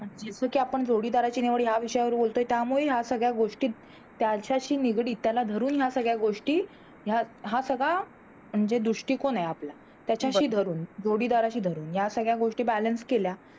कि आपण जोडीदाराची निवड या विषयावर बोलतोय त्यामुळे या सगळ्या गोष्टी त्यांच्याशी निगडीत त्याला धरून या सगळ्या गोष्टी ह्या हा सगळा म्हणजे दृष्टिकोन आहे आपला त्याच्याशी धरून जोडीदाराशी धरून या सगळ्या गोष्टी Balance केल्या